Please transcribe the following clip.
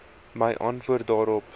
my antwoord daarop